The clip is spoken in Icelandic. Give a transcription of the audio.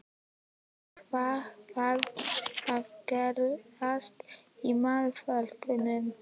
En hvað þarf að gerast í málaflokknum?